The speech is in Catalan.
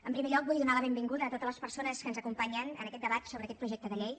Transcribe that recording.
en primer lloc vull donar la benvinguda a totes les persones que ens acompanyen en aquest debat sobre aquest projecte de llei